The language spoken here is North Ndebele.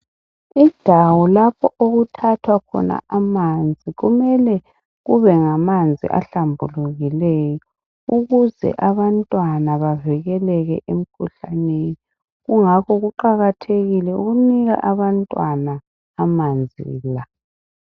undawo lapho okuthathwa khona amanzi kumele kube ngamanzi ahlambulukileyo ukuze abantwana bavikeleke emkhuhlaneni kungakho kuqhakathekile ukunika abantwana amanzi la